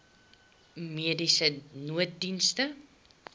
mediese nooddienste